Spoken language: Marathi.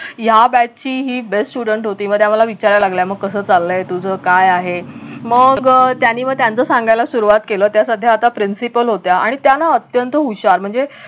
ह्या batch ची ही best student होती मग त्या मला विचारायला लागल्या कस चाललंय तुझं काय आहे मग त्यांनी मग त्याचं सांगायला सुरवात केलं त्या सध्या आता principal होत्या आणि त्या ना अत्यंत हुशार म्हणजे